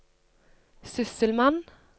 sysselmann